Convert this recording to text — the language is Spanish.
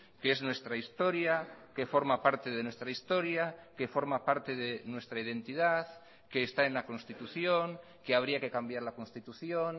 que es nuestra historia que forma parte de nuestra historia que forma parte de nuestra identidad que está en la constitución que habría que cambiar la constitución